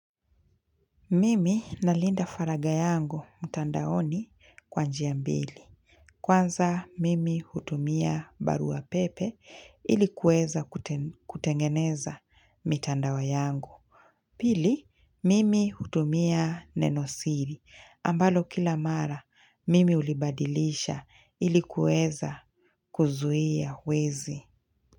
Mimi nalinda faragha yangu mtandaoni kwa njia mbili. Kwanza, mimi hutumia barua pepe ilikuweza kutengeneza mitandao yangu. Pili, mimi hutumia nenosiri ambalo kila mara mimi ulibadilisha ilikuweza kuzuia wezi.